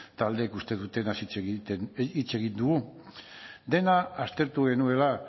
taldeek uste dutenaz hitz egin dugu dena aztertu genuela